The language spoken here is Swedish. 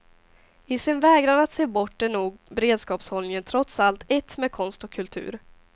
I sin vägran att se bort är nog beredskapshålllningen trots allt ett med konst och kultur.